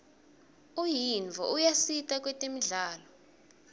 unyiotfo uyasita kwetemidlalo